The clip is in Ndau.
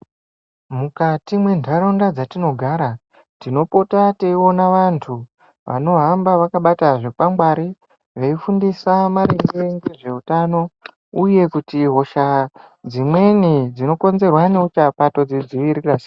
Mukati mwendaraunda dzatinogara tinopota teiona vantu veihamba vakabata zvikwangwari veifundisa ngezveutano uye kuti hosha dzimweni dzinokonzerwa ngeuchapa todzidzivirira sei.